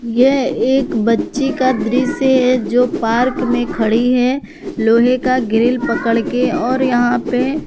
यह एक बच्ची का दृश्य है जो पार्क मे खड़ी है लोहे का ग्रिल पकड़ के और यहां पे--